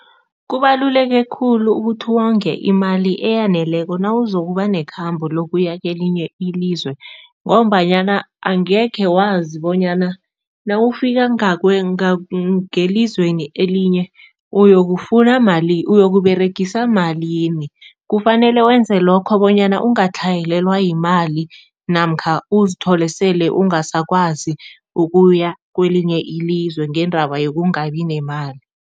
Kubaluleke khulu ukuthi wonge imali eyaneleko nawuzokuba nekhamba lokuya kelinye ilizwe ngombanyana angekhe wazi bonyana nawufika ngelizweni elinye, uyokufuna malini, uyokuberegisa malini. Kufanele wenze lokho bonyana ungatlhayelelwa yimali namkha uzithole sele ungasakwazi ukuya kwelinye ilizwe ngendaba yokungabi nemali.